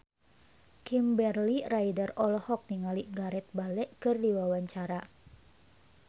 Kimberly Ryder olohok ningali Gareth Bale keur diwawancara